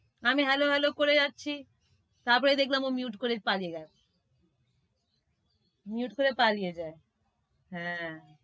আমি করে যাচ্ছি তারপরে দেখলাম ও mute করে পালিয়ে গেলো। mute করে পালিয়ে যায়। হ্যাঁ,